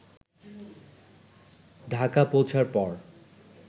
ঢাকা পৌঁছার পর